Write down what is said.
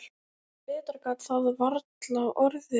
Betra gat það varla orðið.